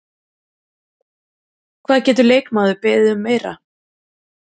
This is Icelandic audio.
Hvað getur leikmaður beðið um meira?